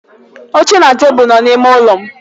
Oche na tebụl nọ n'ime ụlọ m.